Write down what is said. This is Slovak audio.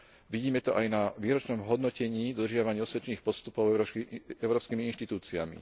Vidíme to aj na výročnom hodnotení dodržiavania osvedčených postupov európskymi inštitúciami.